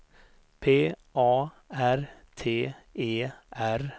P A R T E R